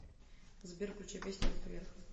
сбер включи песни руки вверх